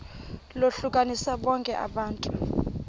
lohlukanise bonke abantu